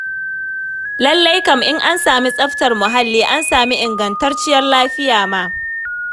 Lallai kam, in an sami tsaftar muhalli, an sami ingantacciyar lafiya ma.